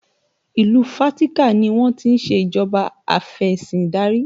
Ìlú Fatika ni wọ́n ti ń ṣe ìjọba afesindari